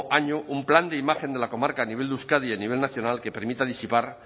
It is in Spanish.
año un plan de imagen de la comarca a nivel de euskadi y a nivel nacional que permita disipar